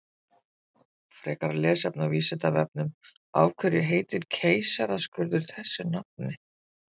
Frekara lesefni á Vísindavefnum Af hverju heitir keisaraskurður þessu nafni?